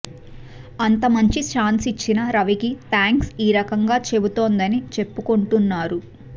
అంత మంచి ఛాన్స్ ఇచ్చిన రవికి థ్యాంక్స్ ఈ రకంగా చెబుతోందని చెప్పుకొంటున్నారు